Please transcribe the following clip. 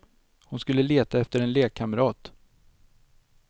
Hon skulle leta efter en lekkamrat.